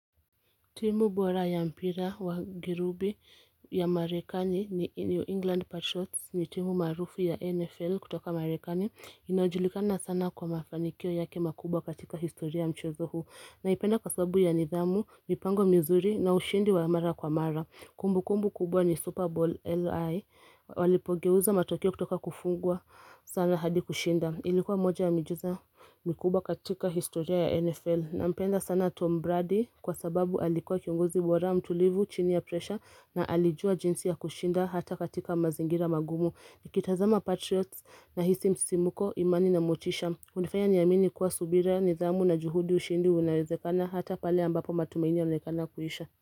Timu bora ya mpira wa girubi ya marekani ni New England Patriots ni timu maarufu ya NFL kutoka marekani inajulikana sana kwa mafanikio yake makubwa katika historia wa mchezo huu naipenda kwa sababu ya nidhamu, mipango mizuri na ushindi wa mara kwa mara kumbukumbu kubwa ni Super Bowl LI walipogeuza matokeo kutoka kufungwa sana hadi kushinda ilikuwa moja ya miujiza mikubwa katika historia ya NFL Nampenda sana Tom Brady kwa sababu alikuwa kiongozi bora mtulivu chini ya presha na alijua jinsi ya kushinda hata katika mazingira magumu Nikitazama Patriots nahisi msisimuko imani na motisha Hunifaya niamini kuwa subira nidhamu na juhudi ushindi unawezekana hata pale ambapo matumaini yanaonekana kuisha.